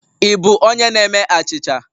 Ị bụ onye na-eme achịcha?